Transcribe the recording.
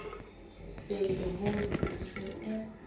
be leholo o se o